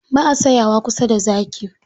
Ba a tsayawa kusa da zaki.